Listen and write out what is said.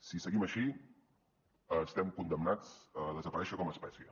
si seguim així estem condemnats a desaparèixer com a espècie